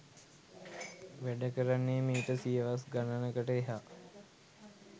වැඩකරන්නෙ මීට සියවස් ගණනකට එහා.